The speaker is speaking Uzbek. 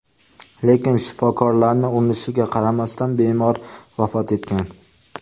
Lekin shifokorlarning urinishiga qaramasdan bemor vafot etgan.